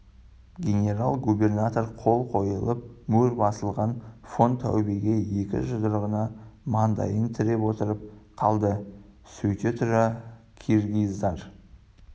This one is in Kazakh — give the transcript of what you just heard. генерал-губернатор қол қойылып мөр басылған фон таубе екі жұдырығына мандайын тіреп отырып қалды сөйте тұра киргиздар